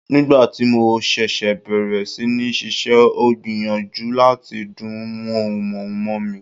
Nígbà tí mo ṣẹ̀ṣẹ̀ bẹ̀rẹ̀ sí ní ṣiṣẹ́, ó gbìyànjú láti dún mọ̀húrú mọ́ mi.